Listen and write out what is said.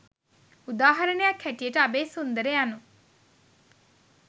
උදාහරණයක් හැටියට අබේසුන්දර යනු